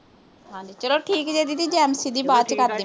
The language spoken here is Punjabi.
ਹਾਂਜੀ ਚਲੋ ਠੀਕ ਜੇ ਦੀਦੀ ਜੈ ਦੀ ਬਾਅਦ ਚ ਠੀਕ ਆ ਜੀ